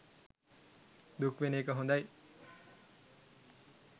දුක් වෙන එක හොඳයි.